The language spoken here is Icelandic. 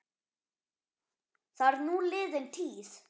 Það er nú liðin tíð.